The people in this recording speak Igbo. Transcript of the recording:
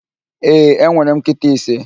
Ee, enwere m nkịta ise.